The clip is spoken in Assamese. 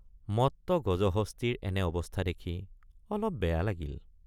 মত্ত গজহস্তীৰ এনে অৱস্থা দেখি অলপ বেয়া লাগিল।